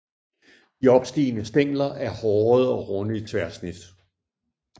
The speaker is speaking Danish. De opstigende stængler er hårede og runde i tværsnit